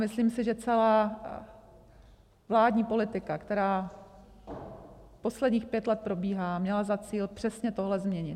Myslím si, že celá vládní politika, která posledních pět let probíhá, měla za cíl přesně tohle změnit.